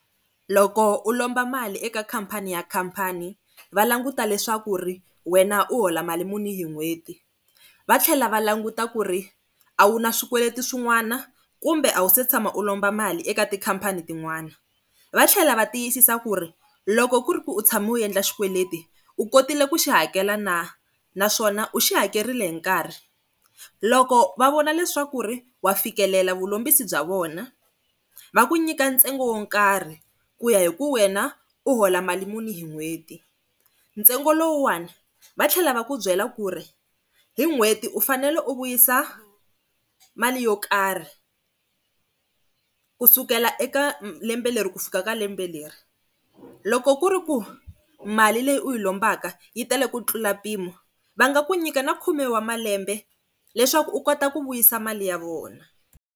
Loko u lomba mali eka khampani ya khampani va languta leswaku wena u hola mali muni hi n'hweti, va tlhela va languta ku ri a wu na swikweleti swin'wana kumbe a wu se tshama u lomba mali eka tikhampani tin'wana. Va tlhela va tiyisisa ku ri loko ku ri ku u tshami u endla xikweleti u kotile ku xi hakela na naswona u xi hakerile hi nkarhi. Loko va vona leswaku wa fikelela vulombisi bya vona va ku nyika ntsengo wo nkarhi ku ya hi ku wena u hola mali muni hi n'hweti. Ntsengo lowu one va tlhela va ku byela ku ri hi n'hweti u fanele u vuyisa mali yo karhi kusukela eka lembe leri ku fika ka lembe leri. Loko ku ri ku mali leyi u yi lombaka yi tele ku tlula mpimo va nga ku nyika na khume wa malembe leswaku u kota ku vuyisa mali ya vona.